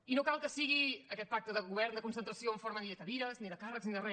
i no cal que sigui aquest pacte de govern de concentració en forma ni de cadires ni de càrrecs ni de re